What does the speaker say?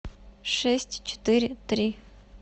шесть четыре три